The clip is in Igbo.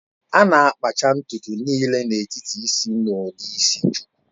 A na-akpacha ntutu niile n'etiti isi na ụdị isi shuku